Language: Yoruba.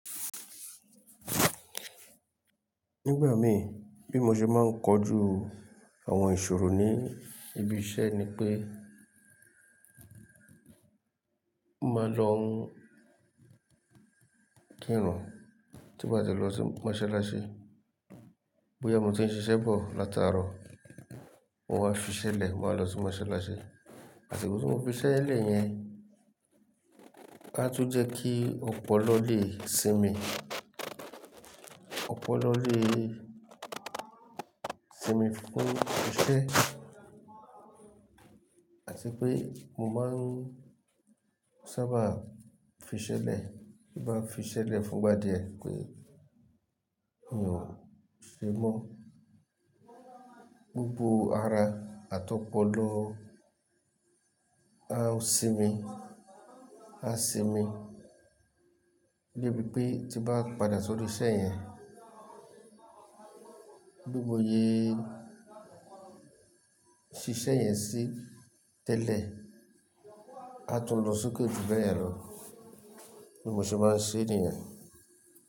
Nígbà mi bí mo ṣe máa ń kojú àwọn ìṣòro ní ibi iṣẹ́ ni pé, mo máa lọ kírun tí bá ti lọ sí mọ́ṣáláṣí. Bóyá mo ti ń ṣiṣẹ́ bọ̀ látàárọ̀, mo máa fiṣẹ́ lẹ̀, mo máa lọ sí mọ́ṣáláṣí. Àsikotí mo fiṣẹ́ lẹ̀ yẹn, a tu jẹ́ kí ọpọlọ lè sinmi, ọpọlọ lè sinmi fún iṣẹ́. Àti pé mo máa ń sábà fiṣẹ́ lẹ̀, má fiṣẹ́ lẹ̀ fún gbadìẹ pé, "mio se mọ́." Gbogbo ara àtọpọlọ á sinmi, á sinmi débi pé tímbá padà sórí iṣẹ́ yẹn, bí mo yé fí iṣẹ́ yẹn sí tẹ́lẹ̀, a tún lọ sókè ji báye ń lọ. Bí mo ṣe máa ń ṣẹ́ nìyẹn.